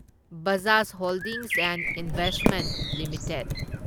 Bajaj holdings and investment limited